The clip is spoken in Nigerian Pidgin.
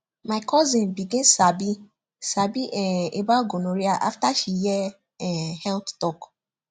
my cousin begin sabi sabi um about gonorrhea after she hear um health talk